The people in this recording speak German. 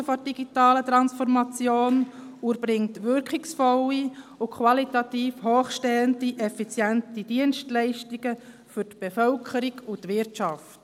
] die Chancen der digitalen Transformation und erbringt wirkungsvolle, qualitativ hochstehende und effiziente» Dienstleistungen für Bevölkerung und Wirtschaft.